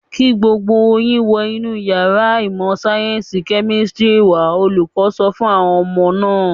"Kí gbogbo yín wọ inú ìyàrá ìmọ̀-sáyẹ́ńsì kẹ́mísítírì wà á!" Olùkọ́ sọ fún àwọn ọmọ náà.